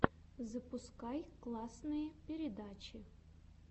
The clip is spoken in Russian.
запускай классные передачи